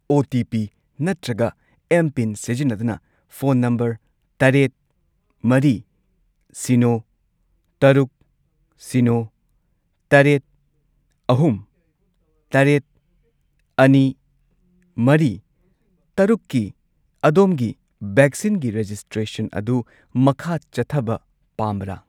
OTP. ꯅꯠꯇ꯭ꯔꯒ mPIN. ꯁꯤꯖꯤꯟꯅꯗꯨꯅ phone number ꯇꯔꯦꯠ, ꯃꯔꯤ, ꯁꯤꯅꯣ, ꯇꯔꯨꯛ, ꯁꯤꯅꯣ, ꯇꯔꯦꯠ, ꯑꯍꯨꯝ, ꯇꯔꯦꯠ, ꯑꯅꯤ, ꯃꯔꯤ, ꯇꯔꯨꯛꯀꯤ ꯑꯗꯣꯝꯒꯤ ꯚꯦꯛꯁꯤꯟꯒꯤ ꯔꯦꯖꯤꯁꯇ꯭ꯔꯦꯁꯟ ꯑꯗꯨ ꯃꯈꯥ ꯆꯠꯊꯕ ꯄꯥꯝꯕꯔꯥ?